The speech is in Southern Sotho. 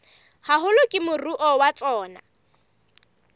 haholo ke moruo wa tsona